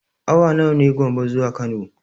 Awa nawa ne Gombe zuwa Kano?